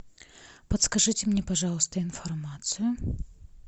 подскажите мне пожалуйста информацию